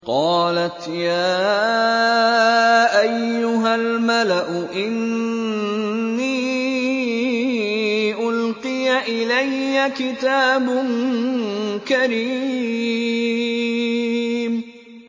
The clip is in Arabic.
قَالَتْ يَا أَيُّهَا الْمَلَأُ إِنِّي أُلْقِيَ إِلَيَّ كِتَابٌ كَرِيمٌ